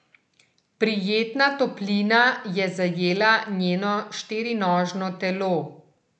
Prijetna toplina je zajela njeno štirinožno telo.